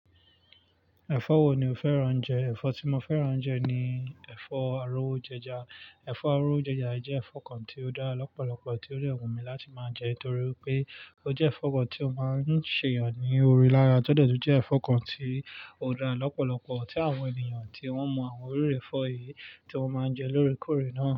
Ẹ̀fọ́ wo ni o fẹ́ràn jẹ? Ẹ̀fọ́ tí mo fẹ́ràn jẹ ni ẹ̀fọ́ arówojẹja. Ẹ̀fọ́ arówojẹja jẹ́ ẹ̀fọ́ kan tí ó dára lọ́pọ̀lọpọ̀ tí ó dẹ wu mí láti máa jẹ nítorí pé ó jẹ́ ẹ̀fọ́ kan tí ó máa ń ṣe èèyàn ní ori lára, tọ́dẹ̀ tún jẹ́ ẹ̀fọ́ kan tí ó dára lọ́pọ̀lọpọ̀ tí àwọn ènìyàn tí wọ́n mọ àwọn oríire ẹ̀fọ́ yìí tí wọ́n máa ń jẹ lórekóòrè náà.